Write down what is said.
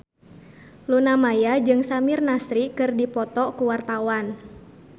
Luna Maya jeung Samir Nasri keur dipoto ku wartawan